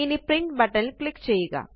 ഇനി print button ല് click ചെയ്യുക